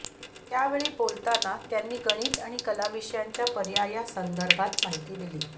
त्यावेळी बोलताना त्यांनी गणित आणि कला विषयांच्या पर्यायासंदर्भात माहिती दिली